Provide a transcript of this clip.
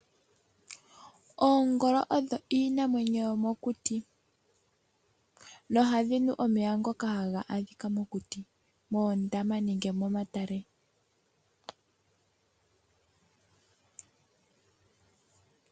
Oongolo odho iinamwenyo yo mokuti, no ohadhi nu omeya ngoka haga adhika mokuti moondama nenge momatale.